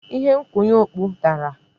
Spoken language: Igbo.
Ihe nkwụnye okpu dara.